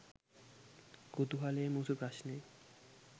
කුතුහලය මුසු ප්‍රශ්නය.